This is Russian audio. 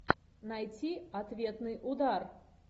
найти ответный удар